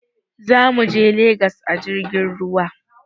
Za muje Legas a jirgin ruwa.